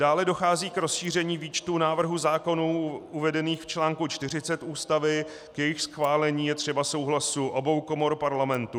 Dále dochází k rozšíření výčtu návrhů zákonů uvedených v článku 40 Ústavy, k jejichž schválení je třeba souhlasu obou komor Parlamentu.